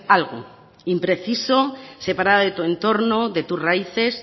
algo impreciso separada de tu entorno de tus raíces